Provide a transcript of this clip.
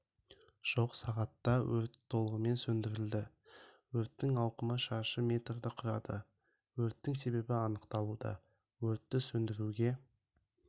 жоқ сағатта өрт толығымен сөндірілді өрттің ауқымы шаршы метрді құрады өрттің себебі анықталуда өртті сөндіруге